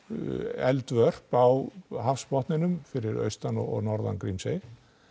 eldvörp á hafsbotninum fyrir austan og norðan Grímsey